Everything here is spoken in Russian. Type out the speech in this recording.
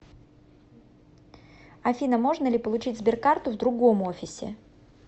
афина можно ли получить сберкарту в другом офисе